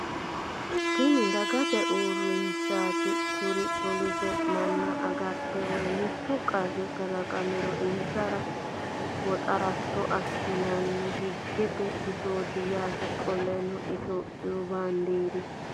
Tini dagate uurinshaati kuri poolise manna agarate woy mittu qarri kalaqamiro insara waxaratto assinanni higgete bisooti yaate. Qoleno ethiopiyu baandeeri